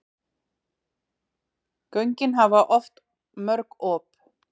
Göngin hafa oft mörg op.